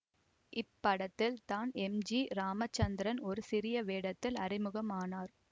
இப்படத்தில் தான் M G Ramachandran ஒரு சிறிய வேடத்தில் அறிமுகமானார்